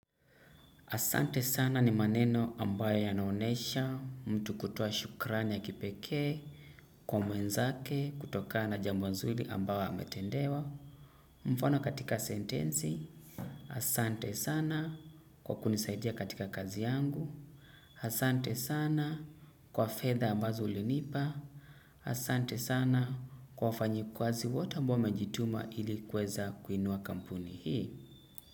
Asante sana ni maneno ambayo ya naonesha mtu kutoa shukrani ya kipekee kwa mwenzake kutokana na jambo nzuri ambayo ametendewa mfano katika sentensi. Asante sana kwa kunisaidia katika kazi yangu. Asante sana kwa fedha ambazo ulinipa. Asante sana kwa wafanyikazi wote ambao wamejituma ili kuweza kuinua kampuni hii.